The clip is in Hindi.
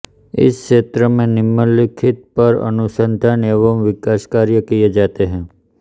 इस क्षेत्र में निम्नलिखित पर अनुसंधान एवं विकास कार्य किए जाते हैं